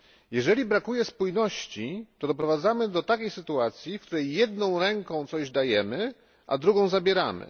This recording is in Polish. Jeżeli brakuje spójności, to doprowadzamy do takiej sytuacji, w której jedną ręką coś dajemy, a drugą zabieramy.